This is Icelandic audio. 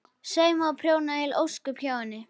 Saumaði og prjónaði heil ósköp hjá henni.